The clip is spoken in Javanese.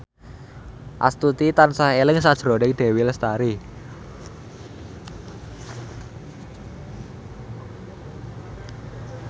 Astuti tansah eling sakjroning Dewi Lestari